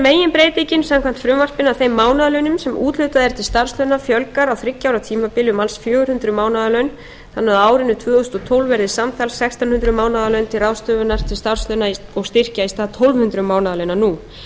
meginbreytingin samkvæmt frumvarpinu að þeim mánaðarlaunum sem úthlutað er til starfslauna fjölgar á þriggja ára tímabili um alls fjögur hundruð mánaðarlaun þannig að á árinu tvö þúsund og tólf verði samtals sextán hundruð mánaðarlaun til ráðstöfunar til starfslauna og styrkja í stað tólf hundruð mánaðarlauna nú